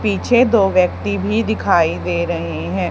पीछे दो व्यक्ति भी दिखाई दे रहे हैं।